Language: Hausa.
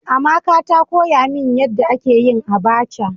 Amaka ta koya min yanda ake yin "abacha".